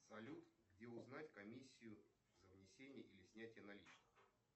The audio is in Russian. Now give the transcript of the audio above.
салют где узнать комиссию за внесение или снятие наличных